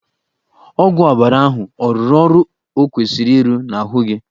Ọgwụ ọbara ahụ ọ rụrụ ọrụ ọ kwesịrị irụ n'ahụ gị?